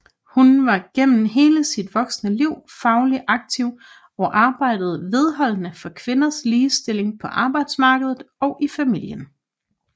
Hun var gennem hele sit voksne liv fagligt aktiv og arbejdede vedholdende for kvinders ligestilling på arbejdsmarkedet og i familien